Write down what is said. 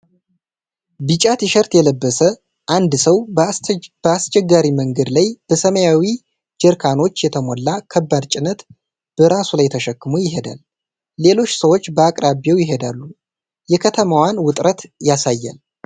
ቢጫ ቲሸርት የለበሰ አንድ ሰው በአስቸጋሪ መንገድ ላይ በሰማያዊ ጀሪካኖች የተሞላ ከባድ ጭነት በራሱ ላይ ተሸክሞ ይሄዳል። ሌሎች ሰዎች በአቅራቢያው ይሄዳሉ፣ የከተማዋን ውጥረት ያሳያል።